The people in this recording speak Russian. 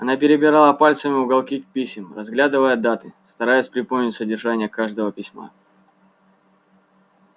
она перебирала пальцами уголки писем разглядывая даты стараясь припомнить содержание каждого письма